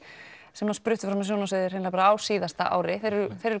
sem spruttu fram á sjónarsviðið á síðasta ári þeir eru